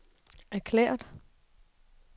erklæret